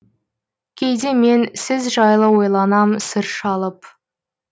кейде мен сіз жайлы ойланам сыр шалып